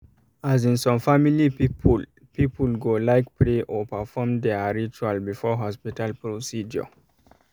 as in some family people people go um like pray or perfom their ritual before hospital um procedure